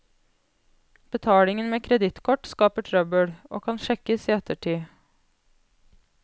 Betaling med kredittkort skaper trøbbel, og kan sjekkes i ettertid.